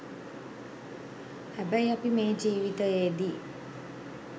හැබැයි අපි මේ ජීවිතයේදී